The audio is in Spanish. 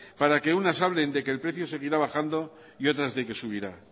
para que unas hablen de que el precio seguirá bajando y otras de que subirá